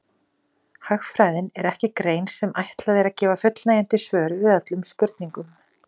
Hagfræðin er ekki grein sem ætlað er að gefa fullnægjandi svör við öllum spurningum.